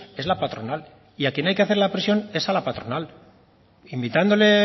es la patronal y a quien hay que hacerle la presión es a la patronal invitándole